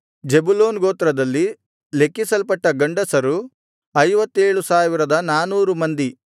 Zebulun ಗೋತ್ರದಲ್ಲಿ ಲೆಕ್ಕಿಸಲ್ಪಟ್ಟ ಗಂಡಸರು 57400 ಮಂದಿ